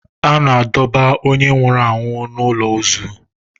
A na-edobe onye nwụrụ anwụ n'ụlọ ozu.